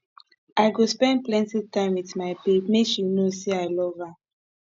i go spend plenty time wit my babe make she know say i love love her